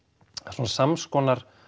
svona samskonar